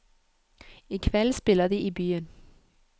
I kveld spiller de i byen.